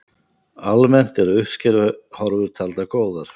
Almennt eru uppskeruhorfur taldar góðar